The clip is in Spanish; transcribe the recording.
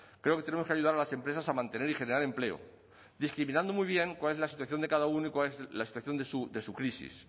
creo que tenemos que ayudar a las empresas a mantener y generar empleo discriminando muy bien cuál es la situación de cada uno y cuál es la situación de su crisis